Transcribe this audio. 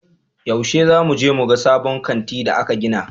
Yaushe za mu je muga sabon kanti da aka gina?